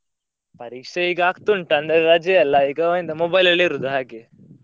ಪರೀಕ್ಷೆ ಈಗಾ ಆಗ್ತಾ ಉಂಟು ಅಂದ್ರ ರಜೆ ಅಲ್ಲಾ ಈಗಾ ಎಂತ mobile ಲಲ್ಲೆ ಇರುದು ಹಾಗೆ.